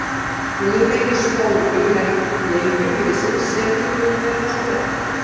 Við höfum fengið spólu með leikjum liðsins sem við höfum verið að skoða.